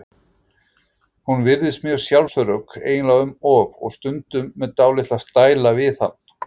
Hún virðist mjög sjálfsörugg, eiginlega um of, og stundum með dálitla stæla við hann.